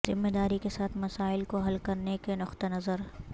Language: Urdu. ذمہ داری کے ساتھ مسائل کو حل کرنے کے نقطہ نظر